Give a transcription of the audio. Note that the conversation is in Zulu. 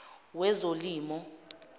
wezolimo